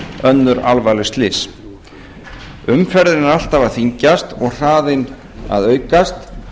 önnur alvarleg slys umferðin er alltaf að þyngjast og hraðinn að aukast